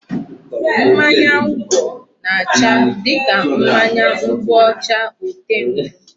Mmanya ngwọ na-acha dịka mmanya nkwụ ọcha ote nkwụ.